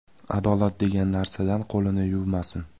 Adolat degan narsadan qo‘lini yuvmasin.